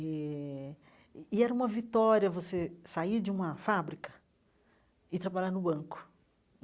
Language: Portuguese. Eh e era uma vitória você sair de uma fábrica e trabalhar no banco.